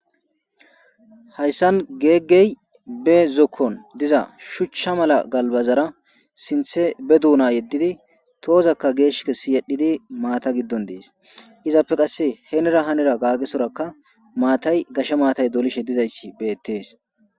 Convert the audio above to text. hayssan geeggey be zokkon diza shuchcha mala galbazara sinthe be duuna yeddidi toozakka geesh kessi yedhdhidi maata giddon dees izappe qasse heenera hanira gaggesorakka maatay gasha maatay dolishe dizayssi beettees